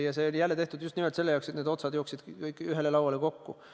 Ja see on nii selleks, et otsad jookseksid kõik ühele lauale kokku.